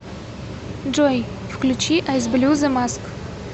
джой включи айс блю зе маск